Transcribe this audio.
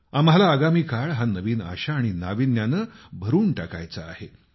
आम्हाला आगामी काळ हा नवीन आशा आणि नाविन्यानं भरून टाकायचा आहे